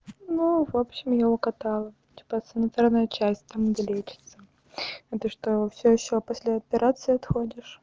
ну в общем я угадала типа центральная часть там где лечится а ты что всё ещё после операции отходишь